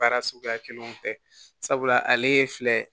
Baara suguya kelenw fɛ sabula ale ye filɛ